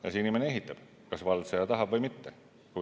Ja see inimene ehitab, kas vald seda tahab või mitte.